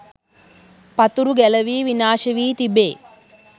පතුරු ගැලැවී විනාශ වී තිබේ.